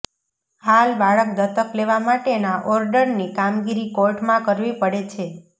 હાલ બાળક દત્તક લેવા માટેના ઓર્ડરની કામગીરી કોર્ટમાં કરવી પડે છે